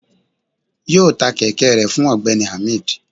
yọọ tá kẹkẹ rẹ fún ọgbẹni ahmed